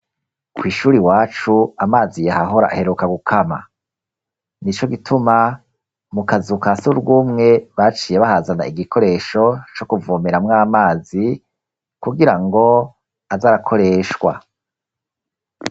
Kw'ishuri iwacu amazi yahahora aheruka gukama nico gituma mu kazu kasurwumwe baciye bahazana igikoresho co kuvomeramwo amazi kugirango aze arakoreshwa.